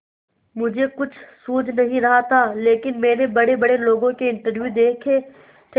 मुझे कुछ सूझ नहीं रहा था लेकिन मैंने बड़ेबड़े लोगों के इंटरव्यू देखे थे